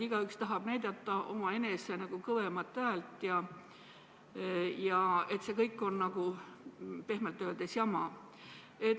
Igaüks tahab näidata omaenese kõvemat häält ja see kõik on pehmelt öeldes jama.